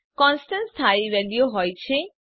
constant સ્થાયી વેલ્યુઓ હોય છે